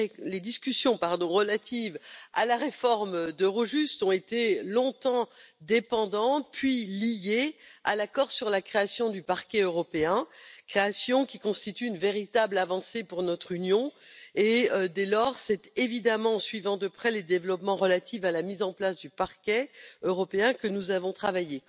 Les discussions relatives à la réforme d'Eurojust ont été longtemps dépendantes de, puis liées à, l'accord sur la création du Parquet européen, création qui constitue une véritable avancée pour notre Union. Dès lors, c'est évidemment en suivant de près les développements relatifs à la mise en place du Parquet européen que nous avons travaillé.